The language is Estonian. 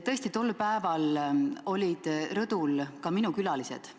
Tõesti, tol päeval olid rõdul ka minu külalised.